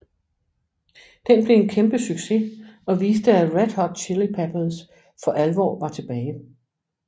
Den blev en kæmpe succes og viste at Red Hot Chili Peppers for alvor var tilbage